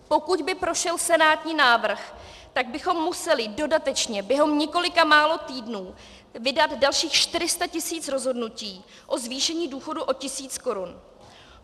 Pokud by prošel senátní návrh, tak bychom museli dodatečně během několika málo týdnů vydat dalších 400 tisíc rozhodnutí o zvýšení důchodů o tisíc korun.